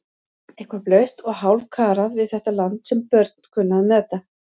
Eitthvað blautt og hálfkarað við þetta land sem börn kunnu að meta.